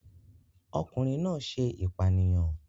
Ọkùnrin náà ṣe ìpànìyàn